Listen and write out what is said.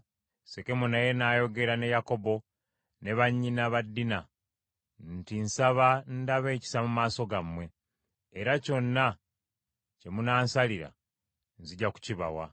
Sekemu naye n’ayogera ne Yakobo ne bannyina ba Dina, nti, “Nsaba ndabe ekisa mu maaso gammwe, era kyonna kye munansalira nzija kukibawa.